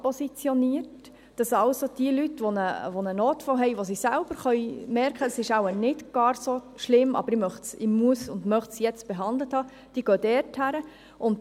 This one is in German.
Leute, die einen Notfall haben – die aber selbst merken, dass es nicht ganz so schlimm ist, dies aber jetzt behandelt haben müssen und möchten –, gehen dorthin.